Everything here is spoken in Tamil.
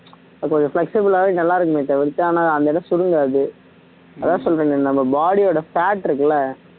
அது ஒரு flexible ஆவே நல்லா இருக்குமே தவிர்த்து ஆனா அந்த இடம் சுருங்காது அதான் சொல்றேனே நம்ம body ஓட fat இருக்குல